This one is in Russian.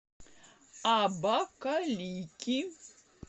абакалики